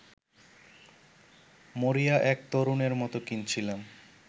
মরিয়া এক তরুণের মতো কিনছিলাম